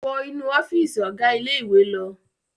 Wọ inú ọ́fíísì ọ̀gá ilé-ìwé lọ!